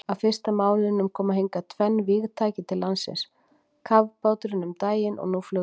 Á fyrsta mánuðinum koma hingað tvenn vígtæki til landsins, kafbáturinn um daginn og nú flugvélin.